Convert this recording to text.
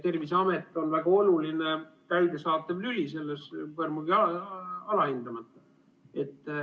Terviseamet on väga oluline täidesaatev lüli selles, seda ei saa põrmugi alahinnata.